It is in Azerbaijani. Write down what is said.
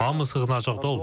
Hamı sığınacaqda olub.